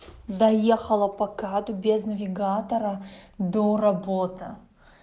доехала пока без навигатора до работа